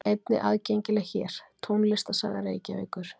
Einnig aðgengileg hér: Tónlistarsaga Reykjavíkur.